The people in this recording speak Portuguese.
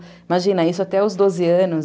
Imagina, isso até os doze anos.